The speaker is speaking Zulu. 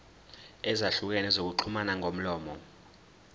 ezahlukene zokuxhumana ngomlomo